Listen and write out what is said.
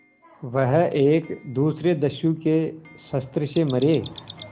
वह एक दूसरे दस्यु के शस्त्र से मरे